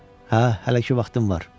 Hə, hələ ki vaxtım var.